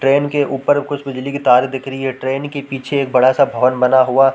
train के ऊपर कुछ बिजली के तार दिख रही हैं ट्रेन के पीछे एक बड़ा-सा भवन बना हुआ--